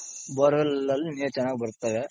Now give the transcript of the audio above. bore well ಅಲ್ಲಿ ನೀರ್ ಚೆನ್ನಾಗ್ ಬರ್ತಾವೆ.